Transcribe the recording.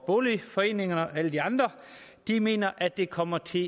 boligforeningerne og alle de andre mener at det kommer til